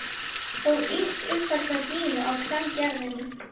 Og ýkt uppfærsla Gínu á kvengervinu.